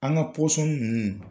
An ka